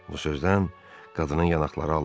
Bu sözdən qadının yanaqları allandı.